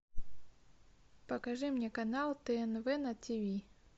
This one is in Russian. покажи мне канал тнв на ти ви